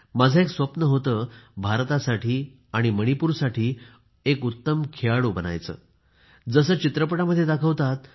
माझे एक स्वप्न होते भारतासाठी आणि मणिपूरसाठी एक उत्तम खेळाडू बनायचे जसे सगळ्या चित्रपटांमध्ये दाखवतात